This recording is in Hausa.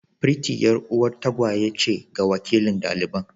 Pretty 'yar'uwar tagwaye ce ga wakilin daliban.